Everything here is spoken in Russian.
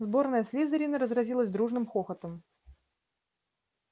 сборная слизерина разразилась дружным хохотом